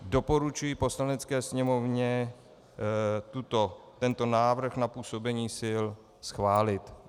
Doporučuji Poslanecké sněmovně tento návrh na působení sil schválit.